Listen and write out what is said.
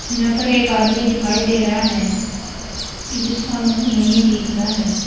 यहां पर एक आदमी दिखाई दे रहा है जिसका मुंह नहीं दिख रहा है।